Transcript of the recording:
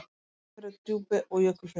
Ísafjarðardjúpi og Jökulfirði.